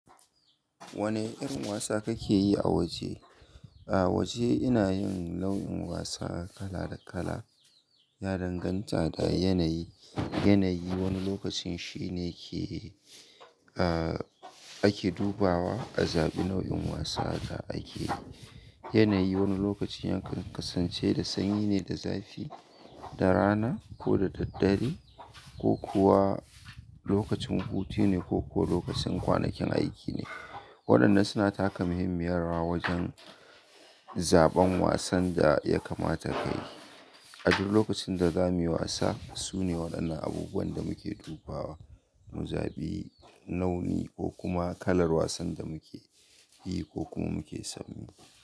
Wane irin wasa kake yi a waje? A waje ina yin launin wasa kala da kala. Ya danganta da yanayi. Yanayi wani lokacin shine ke, ah, ake dubawa a zaɓi nau'in wasa da ake. Yanayi wani lokacin ya kasance da sanyi ne da zafi, da rana ko da dare ko kuwa lokacin hutu ne ko kuwa lokacin kwanakin aiki ne. Waɗannan suna taka muhimmiyar rawa wajen zaɓan wasan da ya kamata ka yi. A duk lokacin da zamuyi wasa, sune waɗannan abubuwan da muke dubawa mu zaɓi nau'i ko kuma kalar wasan da muke yi ko kuma muke son yi.